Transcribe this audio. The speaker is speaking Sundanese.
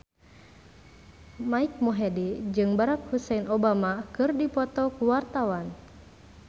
Mike Mohede jeung Barack Hussein Obama keur dipoto ku wartawan